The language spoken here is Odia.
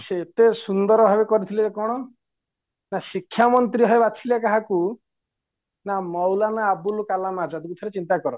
ସେ ଏତେ ସୁନ୍ଦର ଭାବରେ କରିଥିଲେ କ'ଣ ନା ଶିକ୍ଷା ମନ୍ତ୍ରୀ ଭାବେ ବାଛିଲେ କାହାକୁ ନା ମୌଲାମ ଆବୁଲ କାଲାମ ଆଜାଦଙ୍କୁ ଥରେ ଚିନ୍ତାକର